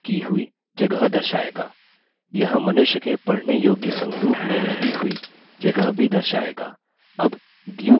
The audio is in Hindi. यह मनुष्य के पढने योग्य संरूप में लगी हुई जगह भी दर्शाएगा